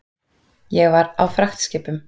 Ég var á fragtskipum.